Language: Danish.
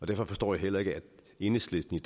derfor forstår jeg heller ikke at enhedslisten